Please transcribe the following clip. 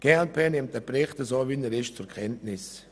Die glp nimmt den Bericht so zur Kenntnis, wie er nun vorliegt.